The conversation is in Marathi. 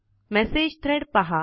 मेसेज थ्रेड पहा